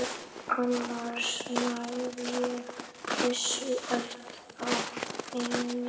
Annars næ ég þessu ekki á einni viku.